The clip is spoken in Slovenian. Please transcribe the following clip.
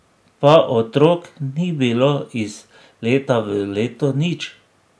Pa otrok ni bilo, iz leta v leto nič.